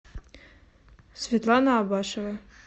светлана абашева